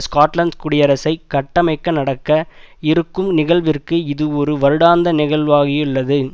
Scotland குடியரசை கட்டமைக்க நடக்க இருக்கும் நிகழ்விற்கு இது ஒரு வருடாந்த நிகழ்வாகியுள்ளது